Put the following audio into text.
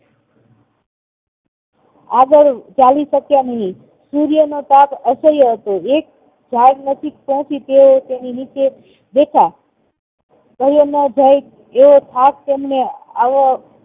આગળ ચાલી શક્યા નહિ સૂર્ય નો તાપ અસહ્ય હતો એક જળ નજીઓક બેસી તેઓ તેની નચે બેઠા સહયોમ ના જાય તેવો થાક તેમને આવો